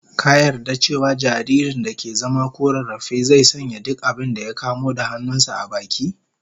Ka yarda cewa jaririn da ke zama ko rarrafe, zai sanya duk abinda ya kamo da hannun sa a baki?